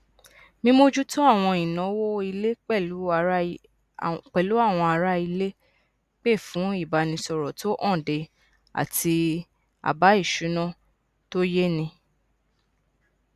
mímójútó àwọn ìnáwó ilé pẹlú àwọn aráilé pè fún ìbánisọrọ tó hànde àti àbá ìṣúná tó yéni